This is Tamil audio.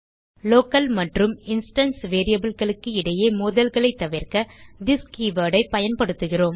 லோக்கல் மற்றும் இன்ஸ்டான்ஸ் variableகளுக்கு இடையே மோதல்களைத் தவிர்க்க திஸ் கீவர்ட் ஐ பயன்படுத்துகிறோம்